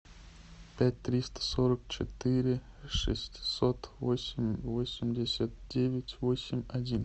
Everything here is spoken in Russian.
пять триста сорок четыре шестьсот восемь восемьдесят девять восемь один